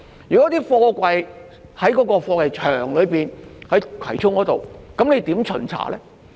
如果貨櫃是在葵涌的貨櫃場內，如何巡查呢？